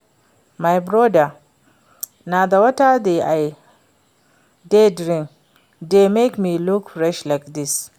My broda, na the water wey I dey drink dey make me look fresh like dis